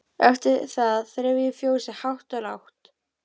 Eftir það þreif ég fjósið hátt og lágt.